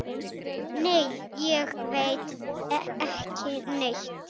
Nei, ég veit ekki neitt.